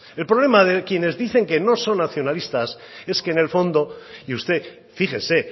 el problema de quienes dicen que no son nacionalistas es que en el fondo y usted fíjese